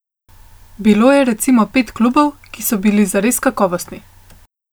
Bilo je recimo pet klubov, ki so bili zares kakovostni.